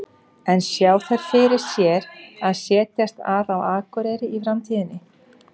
En sjá þær fyrir sér að setjast að á Akureyri í framtíðinni?